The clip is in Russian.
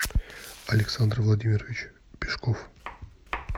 александр владимирович пешков